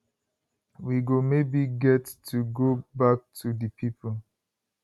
we go maybe get to go back to di people